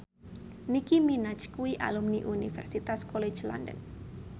Nicky Minaj kuwi alumni Universitas College London